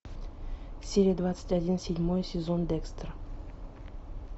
серия двадцать один седьмой сезон декстер